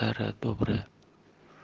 старое доброе